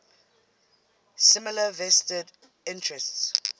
similar vested interests